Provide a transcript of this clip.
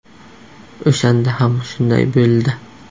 O‘shanda ham shunday bo‘ldi.